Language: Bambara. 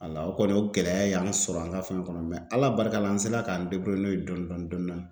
Wala o kɔni o gɛlɛya y'an sɔrɔ an ka fɛn kɔnɔ Ala barika la an sera k'an n'o ye dɔni dɔni dɔni dɔɔni.